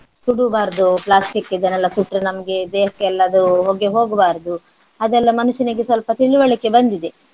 ಸುಡ್ಬಾರ್ದು plastic ಇದನ್ನೆಲ್ಲ ಸುಟ್ರೆ ನಮ್ಗೆ ದೇಹಕ್ಕೆಲ್ಲ ಅದು ಹೊಗೆ ಹೋಗ್ಬಾರ್ದು ಅದೆಲ್ಲ ಮನುಷ್ಯನಿಗೆ ಸ್ವಲ್ಪ ತಿಳುವಳಿಕೆ ಬಂದಿದೆ.